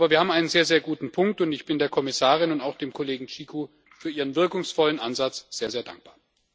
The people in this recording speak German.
Aber wir haben einen sehr, sehr guten Punkt, und ich bin der Kommissarin und auch dem Kollegen Cicu für ihren wirkungsvollen Ansatz sehr, sehr dankbar.